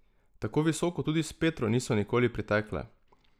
Tako visoko tudi s Petro niso nikoli pritekle.